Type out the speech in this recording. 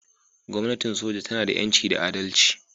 Gwamnatin soja tana da 'yanci da adalci